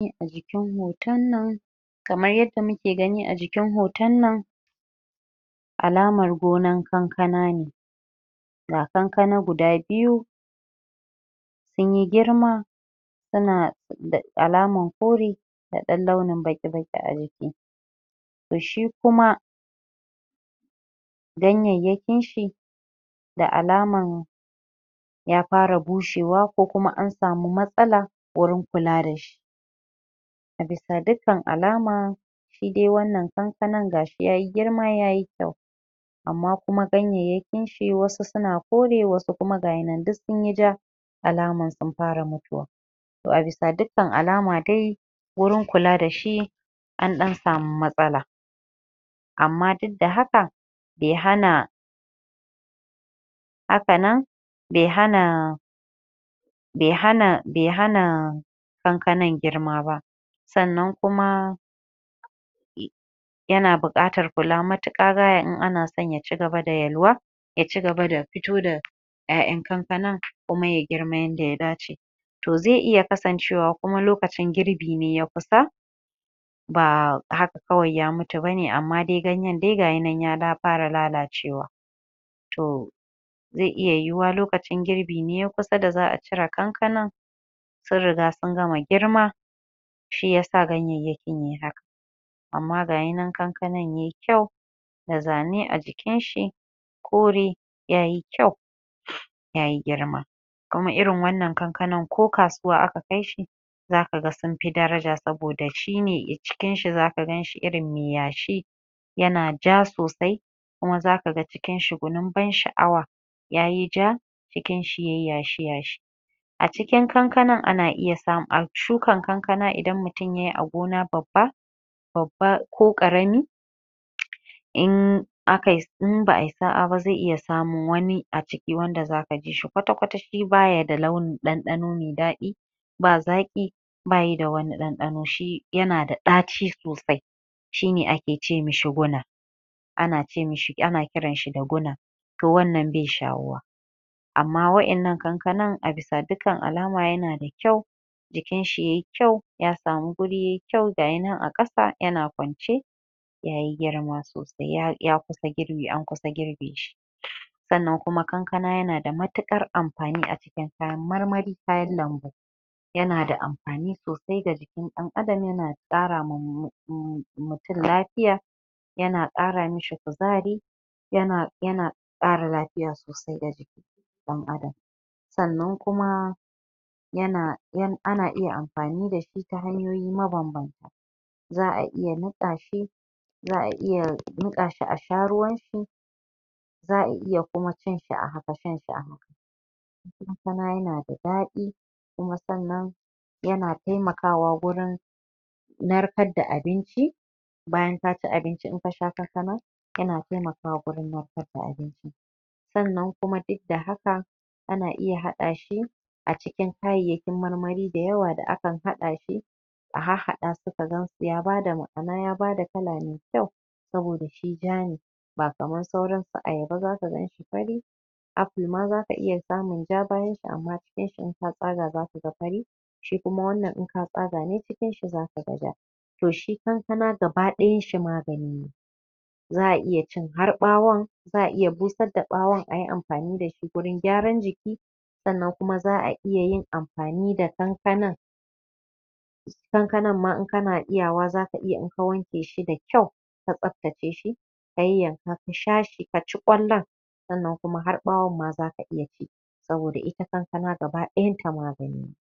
????? kamar yanda muke gani a jikiin hoton nan alamar gonan kankana ne ga kankana guda biyu sun yi girma suna da alaman kore da alaman baƙi-baƙi a jiki to shi kuma ganyanyakin shi da alaman ya fara bushewa ko kuma an samu matsala wurin kula da shi a bisa dukkan alama shi dai wannan kankanan ga shi yayi girma yayi kyau amma kuma ganyanyakin shi wasu suna kore wasu ga yi nan duk sunyi ja alaman sun fara mutuwa to a bisa dukkan alama dai wurin kula shi an ɗan samu matsala amma duk da haka bai hana haka nan bai hana bai hana kankanan girma ba sannan kuma ya na buƙatar kula matuƙa gaya in son ya ci gaba da yalwa ya ci gaba da fito da ƴaƴan kankanan kuma ya girma yanda ya dace to zai iya kasancewa kuma lokacin girbi ne ya kusa ba haka kawai ya mutu bane amma dai ganyen dai ga yi nan ya fara lalacewa to zai iya yiwuwa lokacin girbi ne ya kusa da za'a cie kankanan sun riga sun gana girma shi yasa ganyanyakin yai haka amma ga yi nan kankanan yayi kyau da zane a jikin shi kore ya yi kyau ya yi girma amma irin wannan kankanan ko kasuwa aka kai shi za ka ga sun fi daraja saboda shi ne cikin shi, za ka gan shi irin mai yashi ya na ja sosai kuma za ka ga cikin shi gwanin ban sha'awa ya yi ja cikin ya yi yashi-yashi???? a shukan kankanan idan mutum yayi a gona babba babba ko ƙarami??? aka yi, in ba'a yi sa'a ba zai iya samun wani a ciki wanda zaka ji shi kwata-kwata shi baya da launin ɗanɗano mai daɗi ba zaƙi ba yi da wani ɗanɗano shi ya na da ɗaci sosai shi ne a ke ce mishi guna ana kiran shi da guna to wannan bai shawuwa amma waɗannan kankanan a biisa dukkan alama ya na da kyau jikin shi yayi kyau ya samu wuri yayi kyau ga yi nan a ƙasa ya na kwance ya yi girma sosai ya kusan girbi an kusan girbe shi sannan kuma kankana ya na matuƙar amfani a cikin kayan marmari kayan lambu ya na da amfani sosai ga jikin ɗan adam ya na ƙara ma mutum lafiya ya na ƙara mishi kuzari ya ƙara lafiya sosai ga jikin ɗan adam sannan kuma ana iya amfani da shi ta hanyoyi mabanbanta??? za'a iya niƙa shi a sha ruwan shi za'a iya kuma cin shi a haka shan shi a haka kuma ya na da daɗi kuma sannan kuma ya na taimakawa wurin narkar da abinci bayan ka ci abinci in ka sha kankana ta na taimakawa wurin naarkar da abinci sannan kuma duk da haka ana iya haɗa shi a cikin kayayyakin marmari da yawa da aan haɗa shi a harhaɗa su ka gansu ya bada ma'ana ya bada kala mai kyau saboda shi ja ne ba kamar sauran su ayaba za ka gan shi fari aful ma zaka iya samun ja bayan shi amma cikin shi in ka tsaga zaka ga fari shi kuma wannan in ka tsaga ne cikin shi za ka ga ja to shi kankana gaba ɗayan shi magani ne za'a iya cin har ɓawun za'a iya busar da ɓawun ayi amfani da shi wurin gyaran jiki sannan kuma za'a iya yin amfani da kankanan kankanan ma in kana iyawa zaka iya in wanke shi da kyau ka tsaftace shi ka yanyanka ka sha shi ka ci ƙwallon sannan har ɓawon ma zaka iya ci saboda ita kankana gaba ɗayan ta magani ne